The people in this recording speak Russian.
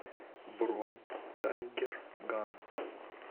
бронь тайгер ган